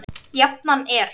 Jafnan er